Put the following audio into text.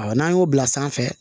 N'an y'o bila sanfɛ